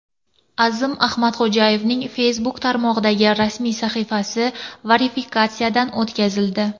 Azim Ahmadxo‘jayevning Facebook tarmog‘idagi rasmiy sahifasi verifikatsiyadan o‘tkazildi.